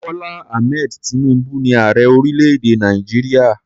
Bọ́lá Ahmed tinubu ni ààrẹ orílẹ̀-èdè Nàìjíríà.